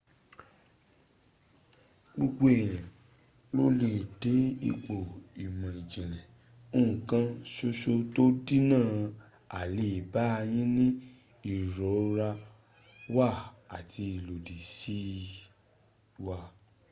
gbogbo eyan lo le de ipo imo ijinle nkan soso to n dinna aleba yi ni irora wa ati ilodi si w